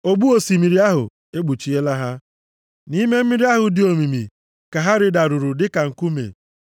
Ogbu osimiri ahụ ekpuchiela ha. Nʼime mmiri ahụ dị omimi ka ha rịdaruru dịka nkume.